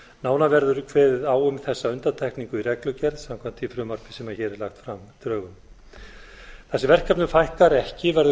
nánar verður kveðið á um þessa undantekningu í reglugerð samkvæmt því frumvarpi sem hér er lagt fram í drögum þar sem verkefnum fækkar ekki verður